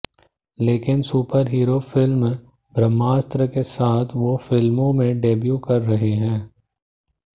लेकिन superhero film Brahmastra के साथ वो फिल्मों में डेब्यू कर रहे हैं